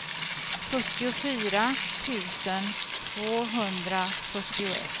fyrtiofyra tusen tvåhundrafyrtioett